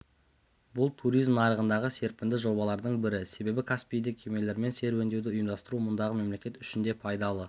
бұл туризм нарығындағы серпінді жобалардың бірі себебі каспийде кемелермен серуендеуді ұйымдастыру мұндағы мемлекет үшін де пайдалы